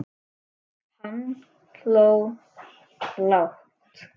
Hann hló lágt.